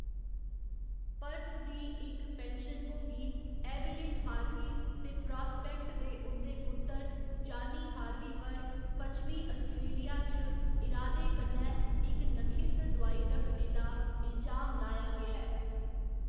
Perth दी इक पेंशनभोगी एवइलिन हार्वी ते प्रास्पेक्ट दे उं'दे पुत्तर जानी हार्वी पर पश्चिमी आस्ट्रेलिया च इरादे कन्नै इक नखिद्ध दुआई रखने दा इलजाम लाया गेआ ऐ।